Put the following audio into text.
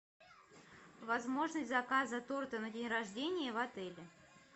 возможность заказа торта на день рождения в отеле